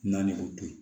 Na ni o to ye